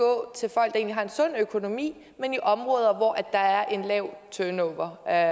er jo en sund økonomi men i områder hvor der er et lavt turnover af